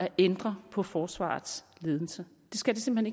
at ændre på forsvarets ledelse det skal det simpelt